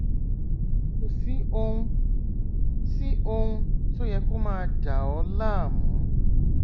kò sí ohun sí ohun tó yẹ kó máa dà ọ láàmú